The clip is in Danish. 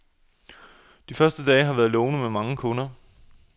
De første dage har været lovende med mange kunder.